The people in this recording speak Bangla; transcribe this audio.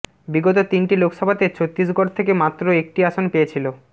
বিগত তিনটি লোকসভাতে ছত্তীসগড় থেকে মাত্র একটি আসন পেয়েছিল